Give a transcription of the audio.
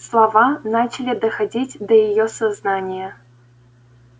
слова начали доходить до её сознания